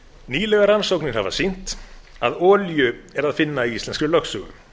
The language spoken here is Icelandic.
nýlegar rannsóknir hafa sýnt að olíu er að finna í íslenskri lögsögu